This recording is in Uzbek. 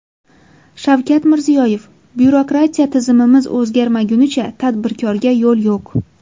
Shavkat Mirziyoyev: Byurokratiya tizimimiz o‘zgarmagunicha tadbirkorga yo‘l yo‘q .